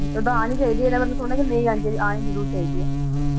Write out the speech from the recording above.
ਉੱਦਾਂ ਆਨੀ ਚਾਹੀਦੀ ਈ ਇਹਦਾ ਮਤਲਬ ਇਹ ਥੋੜੀ ਆ ਵੀ ਆਨੀ ਨੀ ਚਾਹੀਦੀ ਆਨੀ ਜਰੂਰ ਚਾਹੀਦੀ ਏ